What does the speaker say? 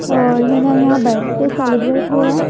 और है ना यहां बर्थडे सेलिब्रेट हो रहा है।